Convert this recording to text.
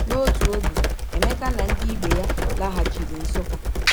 N’otu oge, Emeka na ndị ibe ya laghachiri Nsukka.